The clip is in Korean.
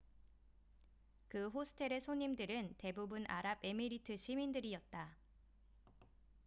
그 호스텔의 손님들은 대부분 아랍에미리트 시민들이었다